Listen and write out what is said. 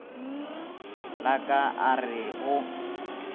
la ka a re go